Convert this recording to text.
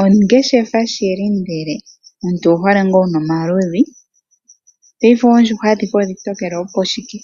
Ongeshefa shili ndele omuntu owu hole ngaa wuna omaludhi. Paife oondjuhwa adhihe oontokele opo shike?